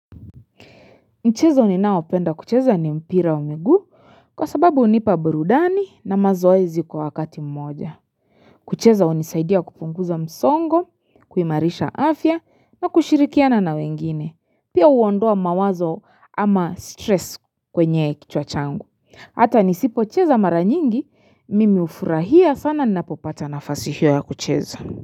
Mchezo ninaopenda kucheza ni mpira wa miguu kwa sababu hunipa burudani na mazoezi kwa wakati mmoja. Kucheza hunisaidia kupunguza msongo, kuimarisha afya na kushirikiana na wengine, pia huondoa mawazo ama stress kwenye kichwa changu. Hata nisipocheza mara nyingi, mimi hufurahia sana ninapopata nafasi hiyo ya kucheza.